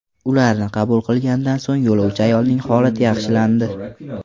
Ularni qabul qilgandan so‘ng yo‘lovchi ayolning holati yaxshilandi.